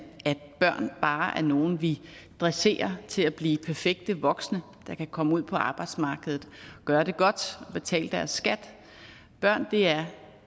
at børn bare er nogle vi dresserer til at blive perfekte voksne der kan komme ud på arbejdsmarkedet gøre det godt og betale deres skat børn er